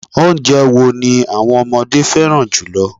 Oúnjẹ wo ni àwọn ọmọdé fẹ́ràn jùlọ